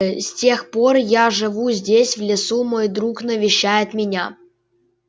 э с тех пор я живу здесь в лесу мой друг навещает меня